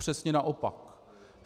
Přesně naopak.